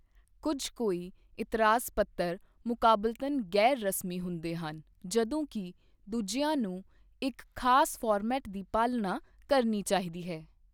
ਕੁਝ ਕੋਈ ਇਤਰਾਜ਼ ਪੱਤਰ ਮੁਕਾਬਲਤਨ ਗ਼ੈਰ ਰਸਮੀ ਹੁੰਦੇ ਹਨ, ਜਦੋਂ ਕਿ ਦੂਜਿਆਂ ਨੂੰ ਇੱਕ ਖਾਸ ਫਾਰਮੈਟ ਦੀ ਪਾਲਣਾ ਕਰਨੀ ਚਾਹੀਦੀ ਹੈ।